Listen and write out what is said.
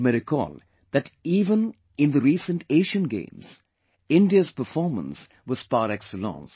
You may recall that even, in the recent Asian Games, India's performance was par excellence